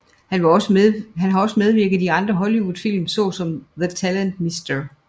Han har også medvirket i andre Hollywoodfilm såsom The Talented Mr